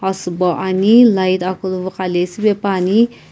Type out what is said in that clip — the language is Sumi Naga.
asübo ani light akulu vuqaile süpepuani.